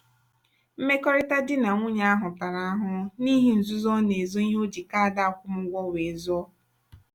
mmekọrịta di na nwunye ahụ tara ahụhụ n'ihi nzuzo ọ na-ezo ihe o ji kaadị akwụmụgwọ wee zụọ.